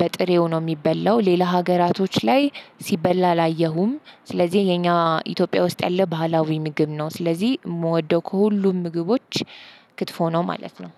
በጥሬው ነው የሚበላው። ሌላ ሀገራቶች ላይ ሲበላ አላየሁም። ስለዚህ የኛ ኢትዮጵያ ውስጥ ያለ ባህላዊ ምግብ ነው። ስለዚህ የምወደው ከሁሉም ምግቦች ክትፎ ነው ማለት ነው።